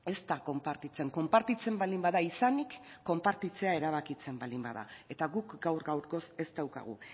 ez da konpartitzen konpartitzen baldin bada izanik konpartitzea erabakitzea baldin bada eta guk gaur gaurkoz ez daukagu